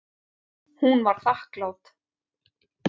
Hún var þakklát.